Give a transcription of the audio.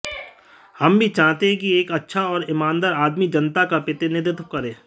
हम भी चाहते हैं कि एक अच्छा और ईमानदार आदमी जनता का प्रतिनिधित्व करे